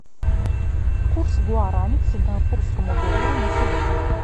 курс гуарани к сингапурскому доллару на сегодня